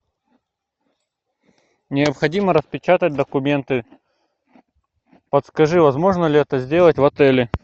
необходимо распечатать документы подскажи возможно ли это сделать в отеле